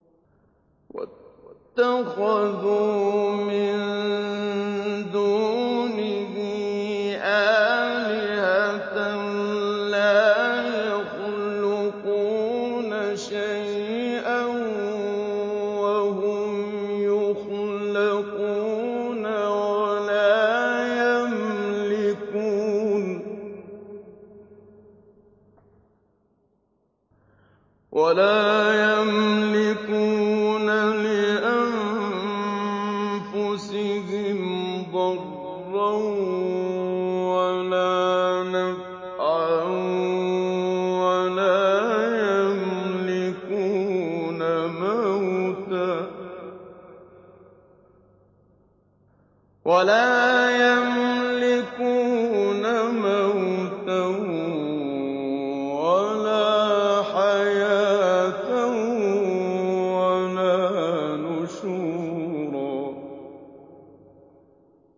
وَاتَّخَذُوا مِن دُونِهِ آلِهَةً لَّا يَخْلُقُونَ شَيْئًا وَهُمْ يُخْلَقُونَ وَلَا يَمْلِكُونَ لِأَنفُسِهِمْ ضَرًّا وَلَا نَفْعًا وَلَا يَمْلِكُونَ مَوْتًا وَلَا حَيَاةً وَلَا نُشُورًا